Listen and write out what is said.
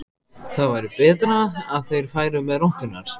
Það væri betra að þeir færu með rotturnar.